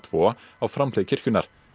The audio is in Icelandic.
tvo á framhlið kirkjunnar